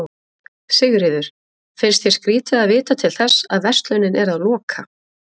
Sigríður: finnst þér skrýtið að vita til þess að verslunin er að loka?